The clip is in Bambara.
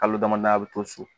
Kalo damadamani a bɛ to so